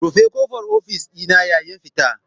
Rufe kofar ofis dina yayin fita.